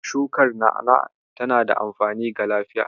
Shukar na'a-na'a tana da amfani ga lafiya.